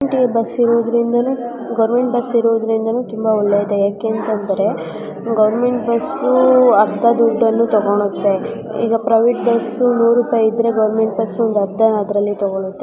Government bus ಇರುವುದರಿಂದ government ಇರುವುದರಿಂದ ಯಾಕೆ ಅಂತಂದ್ರೆ ಗವರ್ನಮೆಂಟ್ ಬಸ್ ಅರ್ಧ ದುಡ್ಡನ್ನ ತಗೊಳುತ್ತೆ ಈಗ ಪ್ರೈವೇಟ್ ಬಸ್ಸು ರೂ. ನೂರು ರುಪಾಯಿ ಇದ್ರೆ ಅದರಲ್ಲಿ ಅರ್ಧ ತಗೊಳ್ಳುತ್ತೆ.